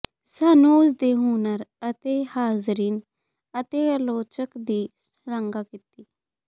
ਸਾਨੂੰ ਉਸ ਦੇ ਹੁਨਰ ਅਤੇ ਹਾਜ਼ਰੀਨ ਅਤੇ ਆਲੋਚਕ ਦੀ ਸ਼ਲਾਘਾ ਕੀਤੀ